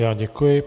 Já děkuji.